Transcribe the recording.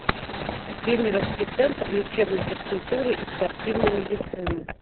кемеровский центр лечебной физкультуры и спортивной медицины